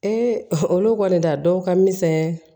olu kɔni ta dɔw ka misɛn